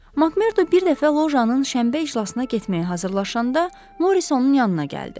Makmerdo bir dəfə lojanın şənbə iclasına getməyə hazırlaşanda Morris onun yanına gəldi.